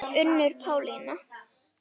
Unnur Pálína.